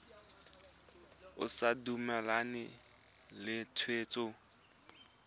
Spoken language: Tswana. o sa dumalane le tshwetso